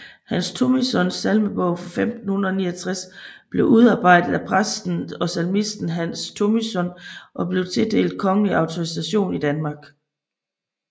Hans Thomissøns Salmebog 1569 blev udarbejdet af præsten og salmisten Hans Thomissøn og blev tildelt kongelig autorisation i Danmark